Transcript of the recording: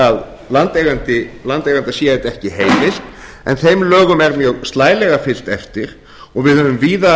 að landeiganda sé þetta ekki heimilt en þeim lögum er mjög slælega fylgt eftir og við höfum víða